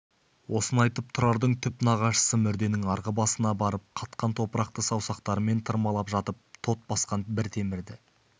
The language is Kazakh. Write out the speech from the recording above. осыны айтып тұрардың түп нағашысы мүрденің арғы басына барып қатқан топырақты саусақтарымен тырмалап жатып тот басқан бір темірді